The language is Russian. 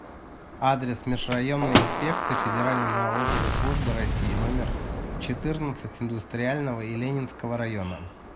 адрес межрайонная инспекция федеральной налоговой службы россии номер четырнадцать индустриального и ленинского района